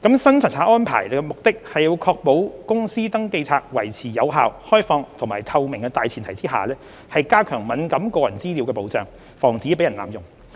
新查冊安排的目的是要確保公司登記冊維持有效、開放和透明的大前提下，加強敏感個人資料的保障，防止被人濫用。